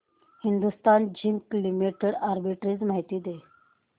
Hindustan zinc limited arbitrage माहिती दे